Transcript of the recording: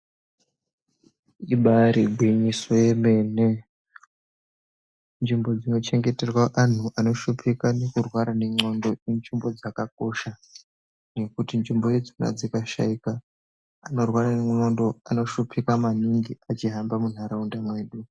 Ibari gwinyiso yemene nzvimbo dzinochengeterwa antu anoshupika nekurwara nendxondo inzvimbo dzakakosha. Nekuti nzvimbo idzona dzikashaika antu anorwara nendxondo anoshupika maningi achihamba muntaraunda mwedu.